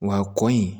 Wa kɔni